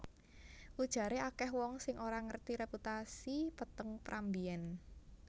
Ujaré akèh wong sing ora ngerti reputasi peteng Pram mbiyèn